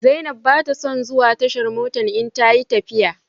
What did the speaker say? Zainab ba ta son zuwa tashar mota in ta yi tafiya.